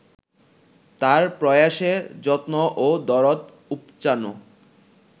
তাঁর প্রয়াসে যত্ন ও দরদ উপচানো